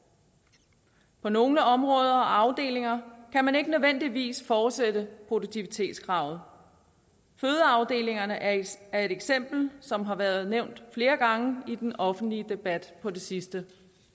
på nogle områder og afdelinger kan man ikke nødvendigvis fortsætte produktivitetskravet fødeafdelingerne er et eksempel som har været nævnt flere gange i den offentlige debat på det sidste